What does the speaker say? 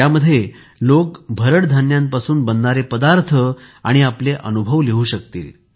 ज्यामध्ये लोकं भरड धान्यांपासून बनणारे पदार्थ आणि आपले अनुभव लिहू शकतील